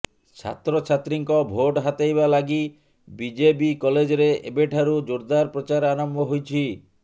ଛାତ୍ରଛାତ୍ରୀଙ୍କ ଭୋଟ ହାତେଇବା ଲାଗି ବିଜେବି କଲେଜରେ ଏବେଠାରୁ ଜୋରଦାର ପ୍ରଚାର ଆରମ୍ଭ ହୋଇଛି